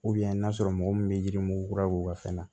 n'a sɔrɔ mɔgɔ min bɛ yirimugu kura k'u ka fɛn na